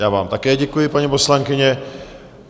Já vám také děkuji, paní poslankyně.